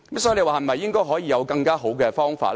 所以，我們可以討論有否更佳方法。